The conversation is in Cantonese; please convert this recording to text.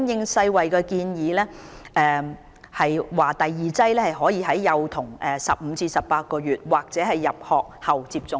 世衞建議第二劑疫苗可以在兒童15個月至18個月時或入學後接種。